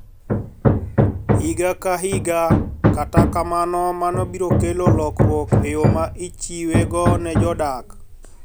Higa ka higa, kata kamano, mano biro kelo lokruok e yo ma ichiwego ne jodak.